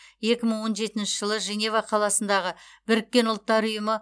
екі мың он жетінші жылы женева қаласындағы біріккен ұлттар ұйымы